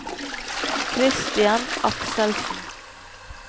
Christian Akselsen